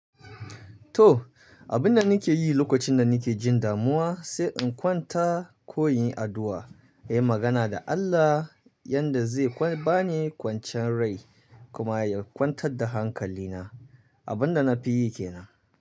To, abinda nike yi lokacin da nike jin damuwa sai in kwanta ko in yi addu'a, yi magana da Allah yanda zai ba ni kwanciyar rai kuma ya kwantar da hankalina. Abunda nafi yi kenan.